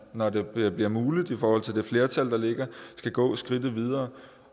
når det bliver bliver muligt i forhold til det flertal der ligger skal gå skridtet videre